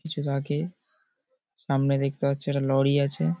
কিছুটা আগে সামনে দেখতে পাচ্ছি একটা লরি আছে।